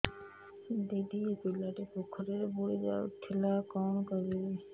ଦିଦି ଏ ପିଲାଟି ପୋଖରୀରେ ବୁଡ଼ି ଯାଉଥିଲା କଣ କରିବି